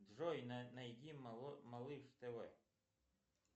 джой найди малыш тв